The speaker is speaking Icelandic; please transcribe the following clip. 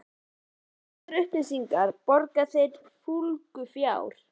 Fyrir þessar upplýsingar borga þeir fúlgur fjár.